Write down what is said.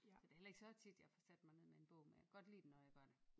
Så det heller ikke så tit jeg får sat mig ned med en bog men jeg kan godt lide det når jeg gør det